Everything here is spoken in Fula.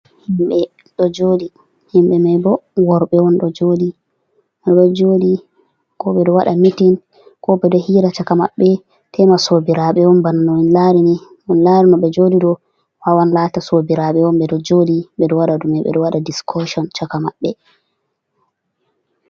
Himɓe ɗo joɗi himɓe mai bo worɓe jodi ko ɓedo waɗa mitin, ko ɓedo waɗa hiira caka maɓɓe tema sobiraɓe on. bana no min lari ni on lari no ɓe joɗi ɗo wawan lata sobiraɓe on, ɓeɗo jodi ɓeɗo wada dume ɓedo wada discotion chaka maɓɓe.